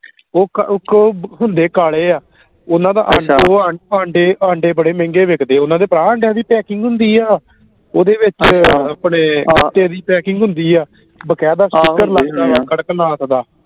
ਉਹ ਕੋ ਉਹ ਕੋ ਉਹ ਹੁੰਦੇ ਕਾਲੇ ਆ ਓਹਨਾ ਦਾ ਅੰਡਾ ਦੋ ਆ ਆਂਡੇ ਬੜੇ ਮਹਿੰਗੇ ਵਿਕਦੇ ਓਹਨਾ ਦੇ ਭਰਾ ਆਂਡਿਆਂ ਦੀ packing ਹੁੰਦੀ ਆ ਓਹਦੇ ਵਿਚ ਆਪਣੇ ਗੱਤੇ ਦੀ packing ਹੁੰਦੀ ਆ ਬਾਕਾਇਦਾ sticker ਕਰਕਨਾਥ ਦਾ